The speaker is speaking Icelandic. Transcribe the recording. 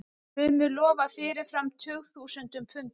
Sumir lofa fyrirfram tugþúsundum punda.